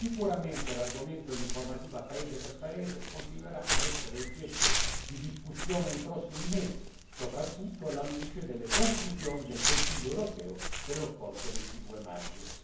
Sicuramente l'argomento e l'informativa paese per paese continueranno a essere oggetto di discussione nei prossimi mesi, soprattutto alla luce delle conclusioni del Consiglio europeo dello scorso 22 maggio.